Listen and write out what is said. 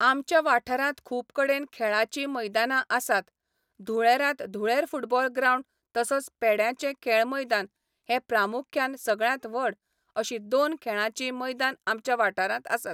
आमच्या वाठारांत खूब कडेन खेळाची मैदाना आसात धुळेरांत धुळेर फुटबॉल ग्रावंड तसोच पेड्याचें खेळ मैदान हे प्रामुख्यान सगळ्यांत व्हड अशीं दोन खेळाचीं मैदान आमच्या वाठारांत आसात.